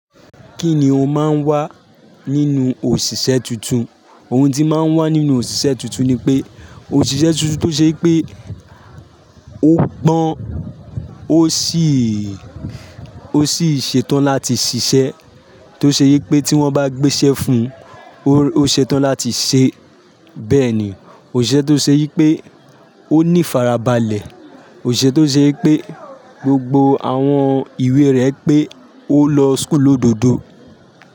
Kíni ó máa ń wà nínú òṣìṣẹ́ tuntun? Ohun tó máa ń wà nínú òṣìṣẹ́ tuntun ni pé òṣìṣẹ́ tuntun tó ṣe pé ó pọ́n ó sì ń, ó sì ń ṣetán láti ṣiṣẹ́, tó ṣe yẹ pé tí wọ́n bá gbéṣẹ́ fún un ó ṣetán láti ṣẹ. Bẹ́ẹ̀ ni, òṣìṣẹ́ tó ṣe yẹ pé ó ní ifarabalẹ̀, òṣìṣẹ́ tó ṣe yẹ pé gbogbo àwọn ìwé rẹ̀ pé ó lọ school lododo.